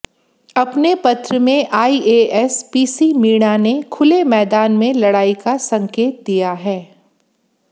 अपने पत्र में आईएएस पीसी मीणा ने खुले मैदान में लड़ाई का संकेत दिया है